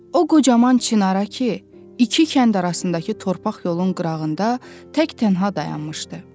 O qocaman çınara ki, iki kənd arasındakı torpaq yolun qırağında təkdənha dayanmışdı.